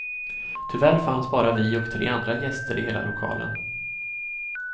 Tyvärr fanns bara vi och tre andra gäster i hela lokalen.